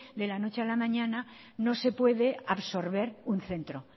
de la noche a la mañana no se puede absorber un centro